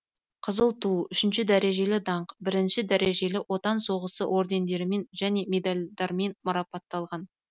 қызыл ту үшінші дәрежелі даңқ бірінші дәрежелі отан соғысы ордендерімен және медальдармен марапатталған